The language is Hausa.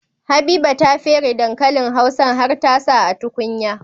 Habiba ta fere dankalin hausan har ta sa a tukunya